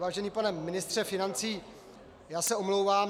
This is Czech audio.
Vážený pane ministře financí, já se omlouvám.